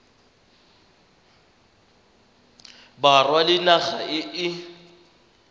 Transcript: borwa le naga e e